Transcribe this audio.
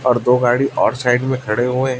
और दो गाड़ी और साइड में खड़े हुए--